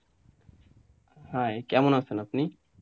hi কেমন আছেন আপনি?